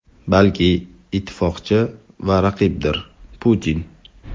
balki ittifoqchi va raqibdir — Putin.